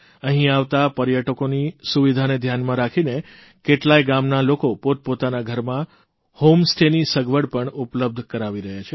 અહીં આવતા પર્યટકોની સુવિધાને ધ્યાનમાં રાખીને કેટલાય ગામના લોકો પોતપોતાના ઘરમાં હોમસ્ટેની સગવડ પણ ઉપલબ્ધ કરાવી રહ્યાં છે